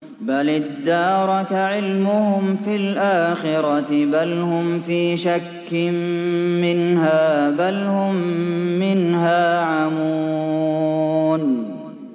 بَلِ ادَّارَكَ عِلْمُهُمْ فِي الْآخِرَةِ ۚ بَلْ هُمْ فِي شَكٍّ مِّنْهَا ۖ بَلْ هُم مِّنْهَا عَمُونَ